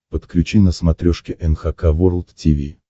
подключи на смотрешке эн эйч кей волд ти ви